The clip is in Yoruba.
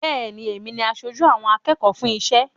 Bẹ́ẹ̀ ni, èmi ni aṣojú àwọn akẹ́kọ̀ọ́ fún iṣẹ́.